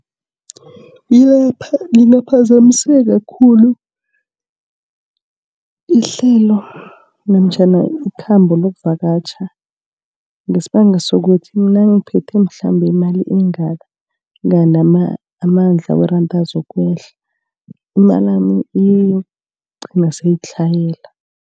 Lingaphazamiseka khulu ihlelo namtjhana ikhambo lokuvakatjha. Ngesibanga sokuthi mangiphethe mhlambe imali engaka kandi amandla weranda azokwehla. Imalami iyokugcina seyitlhayela.